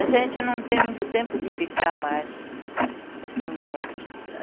A gente não tem muito tempo de ficar mais, assim, juntos.